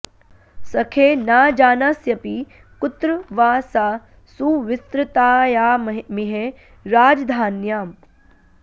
सखे न जानास्यपि कुत्र वा सा सुविस्तृतायामिह राजधान्याम्